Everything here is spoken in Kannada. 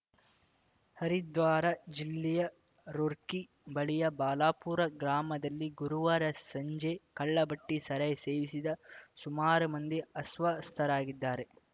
ಹರಿದ್ವಾರ ಜಿಲ್ಲೆಯ ರೂರ್ಕಿ ಬಳಿಯ ಬಾಲುಪುರ ಗ್ರಾಮದಲ್ಲಿ ಗುರುವಾರ ಸಂಜೆ ಕಳ್ಳಭಟ್ಟಿಸಾರಾಯಿ ಸೇವಿಸಿದ ಸುಮಾರು ಮಂದಿ ಅಸ್ವಸ್ತರಾಗಿದ್ದಾರೆ